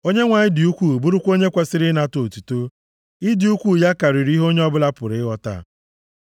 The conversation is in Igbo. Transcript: Onyenwe anyị dị ukwuu, bụrụkwa onye kwesiri ịnata otuto; ịdị ukwuu ya karịrị ihe onye ọbụla pụrụ ịghọta.